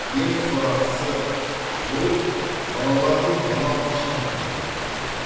ең сорақысы бұл балалардың балалық шағынан айырылғаны